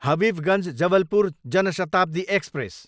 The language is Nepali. हबिबगञ्ज, जबलपुर जान शताब्दी एक्सप्रेस